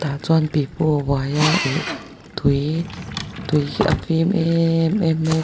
chuan pipu a uai a ih tui tui hi a fîm em em mai a.